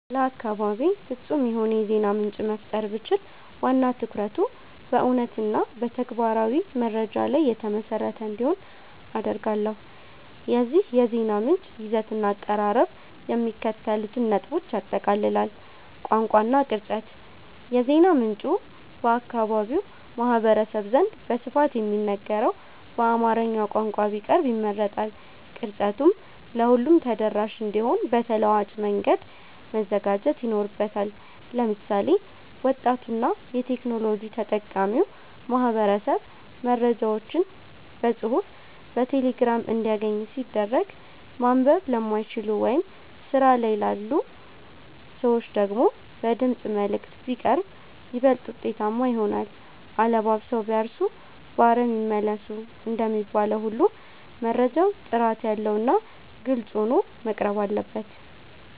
ለአካባቤ ፍጹም የሆነ የዜና ምንጭ መፍጠር ብችል፣ ዋና ትኩረቱ በእውነትና በተግባራዊ መረጃ ላይ የተመሰረተ እንዲሆን አደርጋለሁ። የዚህ የዜና ምንጭ ይዘትና አቀራረብ የሚከተሉትን ነጥቦች ያጠቃልላል፦ ቋንቋ እና ቅርጸት፦ የዜና ምንጩ በአካባቢው ማህበረሰብ ዘንድ በስፋት በሚነገረው በአማርኛ ቋንቋ ቢቀርብ ይመረጣል። ቅርጸቱም ለሁሉም ተደራሽ እንዲሆን በተለዋዋጭ መንገድ መዘጋጀት ይኖርበታል። ለምሳሌ፣ ወጣቱና የቴክኖሎጂ ተጠቃሚው ማህበረሰብ መረጃዎችን በጽሑፍ በቴሌግራም እንዲያገኝ ሲደረግ፣ ማንበብ ለማይችሉ ወይም ስራ ላይ ላሉ ሰዎች ደግሞ በድምፅ መልዕክት (Voice Messages) ቢቀርብ ይበልጥ ውጤታማ ይሆናል። "አለባብሰው ቢያርሱ በአረም ይመለሱ" እንደሚባለው ሁሉ፣ መረጃው ጥራት ያለውና ግልጽ ሆኖ መቅረብ አለበት።